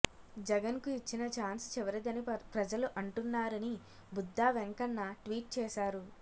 జగన్కు ఇచ్చిన చాన్స్ చివరిదని ప్రజలు అంటున్నారని బుద్దా వెంకన్న ట్వీట్ చేశారు